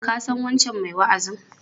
Ka san wancan mai wa'azin?